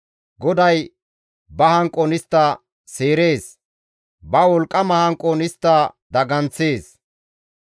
Goday ba hanqon istta seerees; ba wolqqama hanqon istta daganththees.